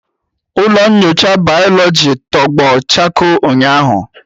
Ụlọ nyocha bayoloji tọgbọ chakoo ụnyahụ.